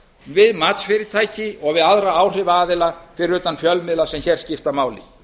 við matsfyrirtæki og við aðra áhrifaaðila fyrir utan fjölmiðla sem hér skipta máli